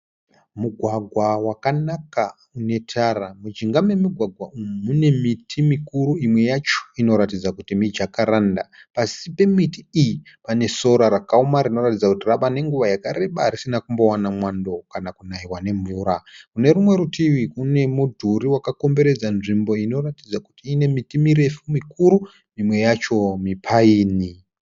Mugwagwa wakanaka une tara. Mujinga memugwagwa umu mune miti mikuru, Imwe yacho inoratidza kuti mijacaranda. Pasi pemiti iyi pane sora rakaoma rinoratidza kuti rave nenguva yakareba risina kumbowana mwando kana kunaiwa mvura. Kunerimwe rutivi kune mudhuri wakakomberedza nzvimbo inoratidza kuti ine miti mirefu mikuru imwe yacho mi pine.